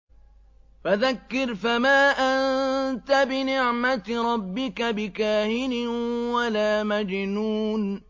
فَذَكِّرْ فَمَا أَنتَ بِنِعْمَتِ رَبِّكَ بِكَاهِنٍ وَلَا مَجْنُونٍ